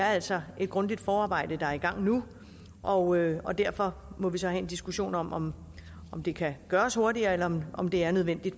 altså er et grundigt forarbejde der er i gang nu og og derfor må vi så have en diskussion om om det kan gøres hurtigere eller om om det er nødvendigt